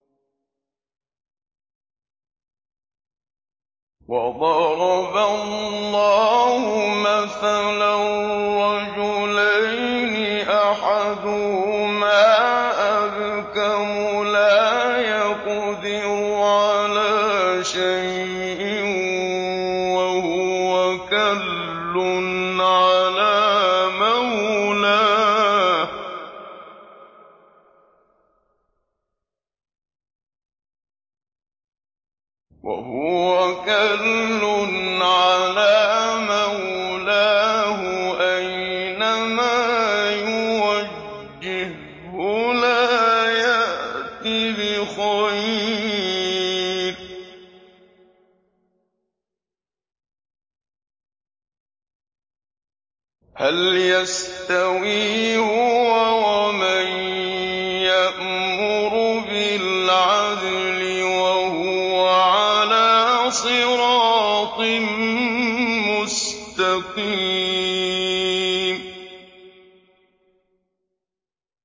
وَضَرَبَ اللَّهُ مَثَلًا رَّجُلَيْنِ أَحَدُهُمَا أَبْكَمُ لَا يَقْدِرُ عَلَىٰ شَيْءٍ وَهُوَ كَلٌّ عَلَىٰ مَوْلَاهُ أَيْنَمَا يُوَجِّههُّ لَا يَأْتِ بِخَيْرٍ ۖ هَلْ يَسْتَوِي هُوَ وَمَن يَأْمُرُ بِالْعَدْلِ ۙ وَهُوَ عَلَىٰ صِرَاطٍ مُّسْتَقِيمٍ